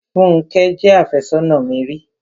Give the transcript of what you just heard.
Fúnkẹ́ jẹ́ àfẹ́sónà mi ri.